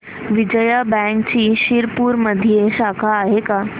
विजया बँकची शिरपूरमध्ये शाखा आहे का